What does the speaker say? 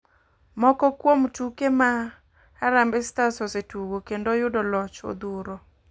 Moko kuom tuke ma harambe stars osetugo kendo oyude loch odhuro